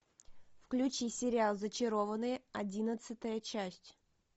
включи сериал зачарованные одиннадцатая часть